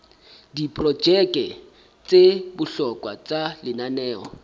diprojeke tsa bohlokwa tsa lenaneo